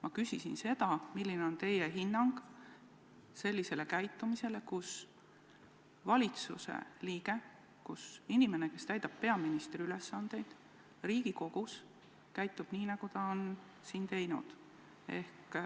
Ma küsisin seda, milline on teie hinnang sellisele käitumisele, kui teie valitsuse liige, inimene, kes täidab peaministri ülesandeid, käitub Riigikogus nii, nagu ta on siin teinud.